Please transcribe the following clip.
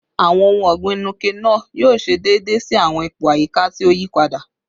Awọn ohun ọgbin Nuke-Noh yoo ṣe deede si awọn ipo ayika ti o yipada